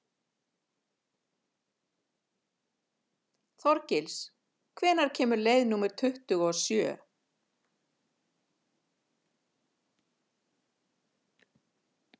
Þorgils, hvenær kemur leið númer tuttugu og sjö?